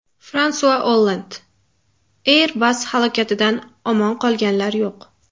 Fransua Olland: Airbus halokatidan omon qolganlar yo‘q.